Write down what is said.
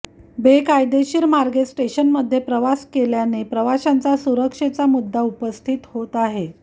बेकायदेशीर मार्गे स्टेशनमध्ये प्रवेश केल्याने प्रवाशांच्या सुरक्षेचा मुद्दा उपस्थित होत आहे